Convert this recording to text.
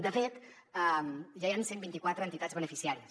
de fet ja hi han cent i vint quatre entitats beneficiàries